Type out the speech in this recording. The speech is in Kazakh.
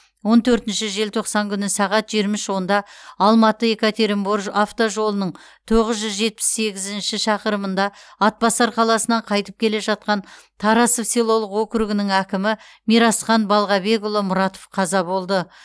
он төртінші желтоқсан күні сағат жиырма үш онда алматы екатеринбор автожолының тоғыз жүз жетпіс сегізінші шақырымында атбасар қаласынан қайтып келе жатқан тарасов селолық округінің әкімі мирасхан балғабекұлы мұратов қаза болды